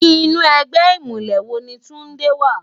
Inú ègbè imúlè wó ni Tunde wá?